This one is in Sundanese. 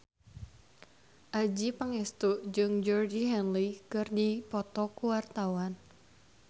Adjie Pangestu jeung Georgie Henley keur dipoto ku wartawan